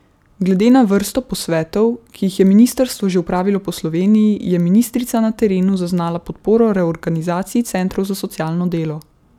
Glede na vrsto posvetov, ki jih je ministrstvo že opravilo po Sloveniji, je ministrica na terenu zaznala podporo reorganizaciji centrov za socialno delo.